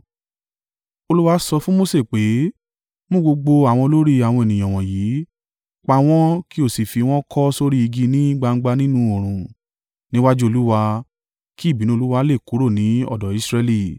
Olúwa sọ fún Mose pé, “Mú gbogbo àwọn olórí àwọn ènìyàn wọ̀nyí, pa wọ́n kí o sì fi wọ́n kọ́ sórí igi ní gbangba nínú oòrùn níwájú Olúwa, kí ìbínú Olúwa lè kúrò ní ọ̀dọ̀ Israẹli.”